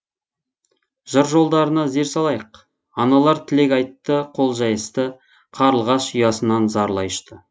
жыр жолдарына зер салайық аналар тілек айтты қол жайысты қарлығаш ұясынан зарлай ұшты